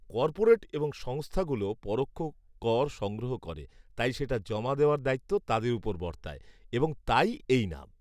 Corporate এবং সংস্থাগুলো পরোক্ষ কর সংগ্রহ করে, তাই সেটা জমা দেওয়ার দায়িত্ব তাদের উপর বর্তায়, এবং তাই এই নাম।